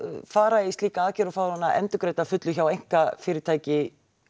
fara í slíka aðgerð og fá hana endurgreidda að fullu hjá einkafyrirtæki